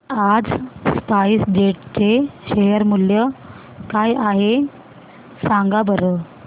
आज spice jet चे share मूल्य काय आहे सांगा बरं